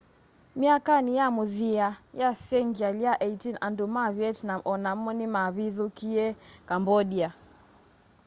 myakanĩ ya mũthia ya sengyalĩ ya 18 andũ ma vietnam o namo nĩmavithũkĩie cambodia